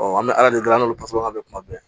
an bɛ ala deli ala basikan mɛn kuma bɛɛ